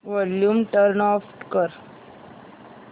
volume turn off कर